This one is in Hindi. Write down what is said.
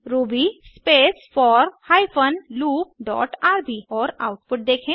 Ruby space four hyphen loop dot rb और आउटपुट देखें